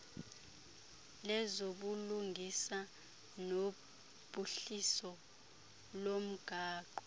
lezobulungisa nophuhliso lomgaqo